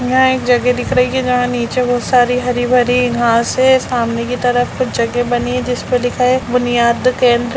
यहाँ एक जगह दिख रही है जहाँ नीचे बहुत सारी हरी-भरी घास है सामने की तरफ कुछ जगह बनी है जिस पर लिखा है बुनियाद केंद्र।